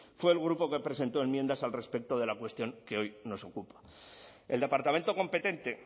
fue el grupo que presentó enmiendas al respecto de la cuestión que hoy nos ocupa el departamento competente